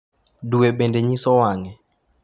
Dwe bende nyiso wang’e.